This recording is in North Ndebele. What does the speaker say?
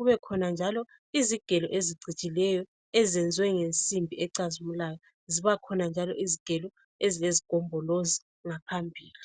kubakhona ingqamu lezigelo ezicijileyo eziyenziwe ngensimbi ecazimulayo. Zibakhona njalo izigelo ezilezigombolozi ngaphambili.